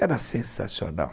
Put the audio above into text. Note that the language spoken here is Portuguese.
Era sensacional.